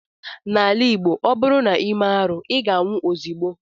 N'ala Igbo, ọ bụrụ na i mee arụ, ị ga-anwụ ozigbo